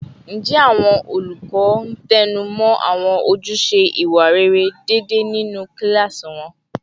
Ǹjẹ́ àwọn olùkọ́ ń tẹnu mọ́ àwọn ojúṣe ìwà rere déédéé nínú kíláàsì wọn?